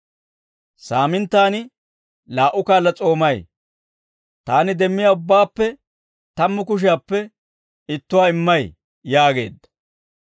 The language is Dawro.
Saaminttaan laa"u kaala s'oomay; taani demmiyaa ubbaappe tammu kushiyaappe ittuwaa immay› yaageedda.